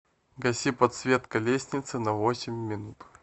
гаси подсветка лестницы на восемь минут